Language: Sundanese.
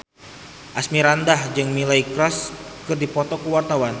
Asmirandah jeung Miley Cyrus keur dipoto ku wartawan